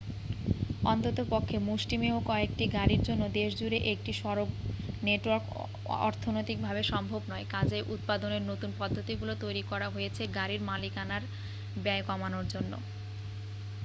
অন্ততপক্ষে মুষ্টিমেয় কয়েকটি গাড়ির জন্য দেশজুড়ে একটি সড়ক নেটওয়ার্ক অর্থনৈতিকভাবে সম্ভব নয় কাজেই উৎপাদনের নতুন পদ্ধতিগুলি তৈরি করা হয়েছে গাড়ির মালিকানার ব্যয় কমানোর জন্য